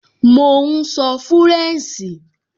Mò ún sọ fúrẹ̀nṣì